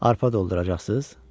Arpa dolduracaqsız?